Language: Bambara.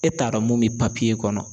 E t'a dɔn mun be kɔnɔ